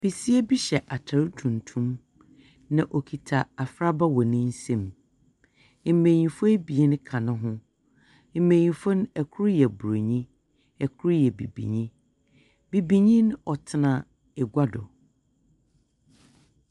Besia bi hyɛ atar tuntum. Na okita afraba wɔ ne nsam. Mbenyimfo abien ka ne ho. Mbenyimfo no, kor Burony. Kor yɛ bibinyi. Bibinyi mo tena agua do. Besia bi hyɛ atar tuntum.